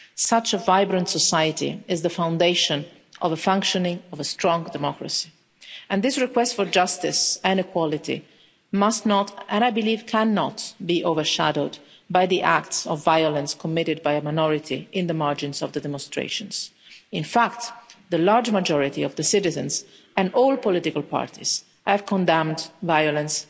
Such a vibrant society is the foundation of the functioning of a strong democracy and this request for justice and equality must not, and, I believe, cannot, be overshadowed by the acts of violence committed by a minority in the margins of the demonstrations. In fact, the large majority of the citizens and all political parties have condemned violence